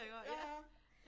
Ja ja